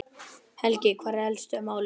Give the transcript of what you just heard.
Helgi, hver eru helstu málin?